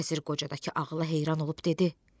Vəzir qocadakı ağıla heyran olub dedi: